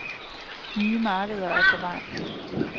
Nye markeder er på vej.